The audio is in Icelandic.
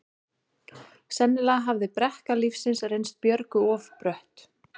Sennilega hafði brekka lífsins reynst Björgu of brött.